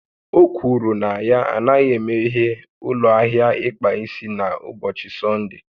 O kwuru na ya anaghị emeghe ụlọ ahịa ịkpa isi ya n'ụbọchị Sọnde